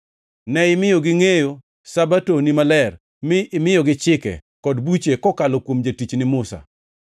Ne imiyo gingʼeyo Sabato-ni maler mi imiyogi chike, kod buche kokalo kuom jatichni Musa.